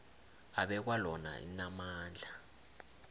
abekwa lona linamandla